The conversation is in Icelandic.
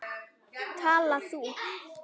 Tala þú.